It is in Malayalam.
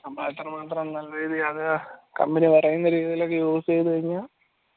അത്രമാത്രം നല്ല രീതിയിൽ അത് company പറയാനൊക്കെ രീതിയിൽ use യത് കയ്‌ന